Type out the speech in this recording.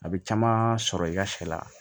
A bɛ caman sɔrɔ i ka sɛ la